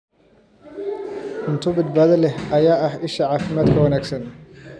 Cunto badbaado leh ayaa ah isha caafimaadka wanaagsan.